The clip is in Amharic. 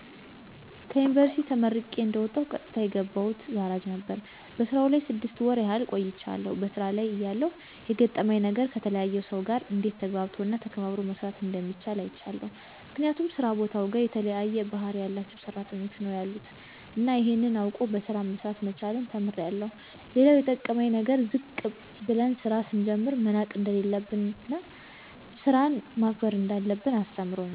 ከዩንቨርስቲ ተመርቄ እንደወጣሁ ቀጥታ የገባሁት ጋራጅ ነበር። በስራው ላይ ስድስት ወር ያህል ቆይቻለሁ። በሥራ ላይ እያለሁ የገረመኝ ነገር ከተለያየ ሰው ጋር እንዴት ተግባብቶ እና ተከባብሮ መስራት እንደሚቻል አይቻለሁ። ምክንያቱም ስራ ቦታውጋ የተለያየ ባህሪ ያላቸው ሰራተኞች ነው ያሉት እና ይሄን አውቆ በሰላም መስራት መቻልን ተምሬአለሁ። ሌላው የጠቀመኝ ነገር ዝቅ ብለን ስራ ስንጀምር መናቅ እንደሌለብን እና ስራን ማክበር እንዳለብን አስተምሮኛል።